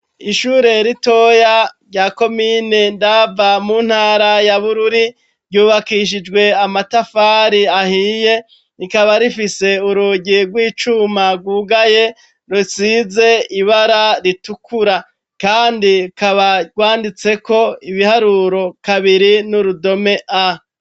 Ishure ritoya rya komine Ndava mu ntara ya Bururi ryubakishijwe amatafari ahiye rikaba rifise urugi rw'icuma rwugaye rusize ibara ritukura, kandi rukaba rwanditseko ibiharuro 2 n'urudome A.